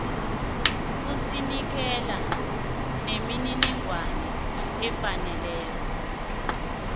usinikela nemininingwana efaneleko